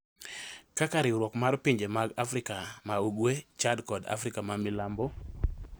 kaka Riwruok mar Pinje mag Afrika ma ugwe, Chad kod Afrika ma Milambo